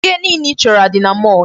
Ihe niile ị chọrọ dị na mall.